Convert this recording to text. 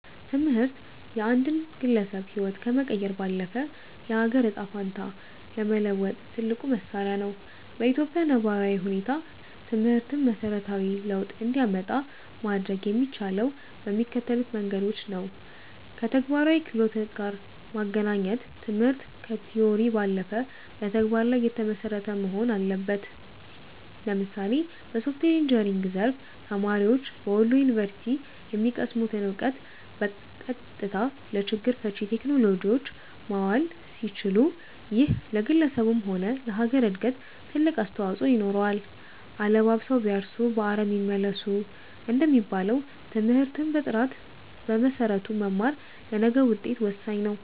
ትምህርት የአንድን ግለሰብ ህይወት ከመቀየር ባለፈ፣ የአገርን ዕጣ ፈንታ ለመለወጥ ትልቁ መሣሪያ ነው። በኢትዮጵያ ነባራዊ ሁኔታ ትምህርትን መሠረታዊ ለውጥ እንዲያመጣ ማድረግ የሚቻለው በሚከተሉት መንገዶች ነውከተግባራዊ ክህሎት ጋር ማገናኘት ትምህርት ከቲዎሪ ባለፈ በተግባር ላይ የተመሰረተ መሆን አለበት። ለምሳሌ በሶፍትዌር ኢንጂነሪንግ ዘርፍ፣ ተማሪዎች በወሎ ዩኒቨርሲቲ የሚቀስሙትን እውቀት በቀጥታ ለችግር ፈቺ ቴክኖሎጂዎች ማዋል ሲችሉ፣ ይሄ ለግለሰቡም ሆነ ለሀገር እድገት ትልቅ አስተዋፅኦ ይኖረዋል። "አለባብሰው ቢያርሱ በአረም ይመለሱ" እንደሚባለው፣ ትምህርትን በጥራትና በመሰረቱ መማር ለነገው ውጤት ወሳኝ ነው።